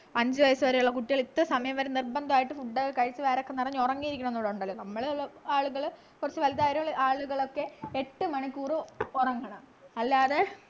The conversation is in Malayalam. അഞ്ചു വയസ്സുവരെയുള്ള കുട്ടികൾ ഇത്ര സമയം വരെ നിർബന്ധമായിട്ടും food ഒക്കെ കഴിച്ചു വയറൊക്കെ നിറഞ്ഞു ഉറങ്ങിയിരിക്കണം ന്നുകൂടെ ഉണ്ടല്ലോ നമ്മളെല്ലാം ആളുകൾ കുറച്ചു വലുതായ ആളുകളൊക്കെ എട്ട് മണിക്കൂർ ഉറങ്ങണം അല്ലാതെ